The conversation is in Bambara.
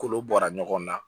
Kolo bɔra ɲɔgɔn na